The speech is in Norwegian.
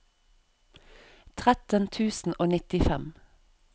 tretten tusen og nittifem